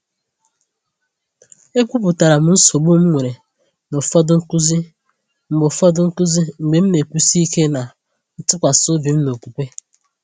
E kwuputara m nsogbu m nwere na ụfọdụ nkuzi mgbe ụfọdụ nkuzi mgbe m na-ekwusi ike na ntụkwasị obi m n’okwukwe.